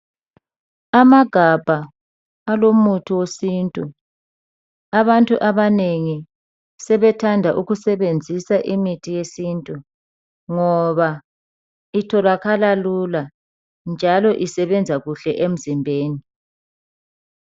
Amagabha alomuthi wesintu, abantu abanengi sebethanda ukusebenzisa imithi yesintu ngoba itholakala lula njalo isebenza kuhle emzimbeni